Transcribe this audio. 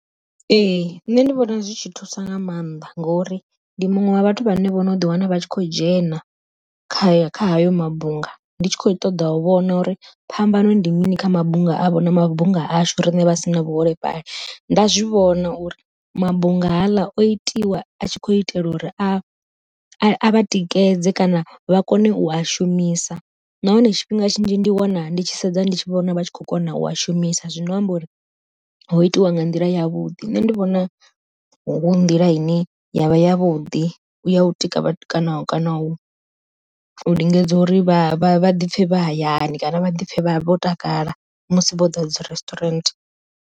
Ee nṋe ndi vhona zwi tshi thusa nga maanḓa, ngori ndi muṅwe wa vhathu vhane vho no ḓi wana vha tshi khou dzhena kha kha hayo mabunga, ndi tshi kho ṱoḓa u vhona uri phambano ndi mini kha mabunga avho na mabunga ashu riṋe vhasina vhuholefhali nda zwi vhona uri mabunga haaḽa o itiwa a tshi kho itelwa uri a a tikedze kana vha kone u a shumisa. Nahone tshifhinga tshinzhi ndi wana ndi tshi sedza ndi tshi vhona vha tshi kho kona u a shumisa zwino amba uri ho itiwa nga nḓila yavhuḓi. Nṋe ndi vhona hu nḓila ine yavha ya vhuḓi ya u tika kana u lingedza uri vha vhaḓipfhe vha hayani kana vhaḓipfhe vho takala musi vho ḓa dzi resturant.